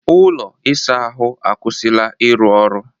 Ụlọ ịsa ahụ akwụsịla ịrụ ọrụ